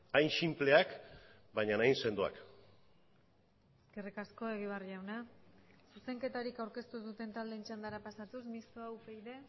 hain sinpleak baina hain sendoak eskerrik asko egibar jauna zuzenketarik aurkeztu ez duten taldeen txandara pasatuz mistoa upyd